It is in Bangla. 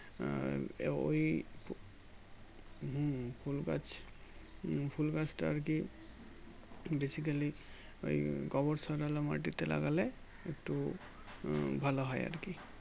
আহ এ ওই হুম ফুল গাছ হুম ফুলগাছটা আরকি Basically ওই গোবর সারওয়ালা মাটিতে লাগালে তো উম ভালো হয় আরকি